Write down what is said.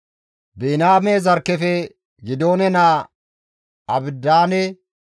Biniyaame zarkkefe Gidi7oone naa Abidaane